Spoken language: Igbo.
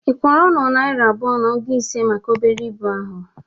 Ị kwọrọ nnụ naira abụa na ogu ise maka obere ibụ a?